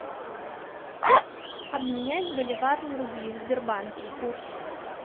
обменять боливар на рубли в сбербанке курс